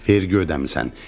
Vergi ödəmisən.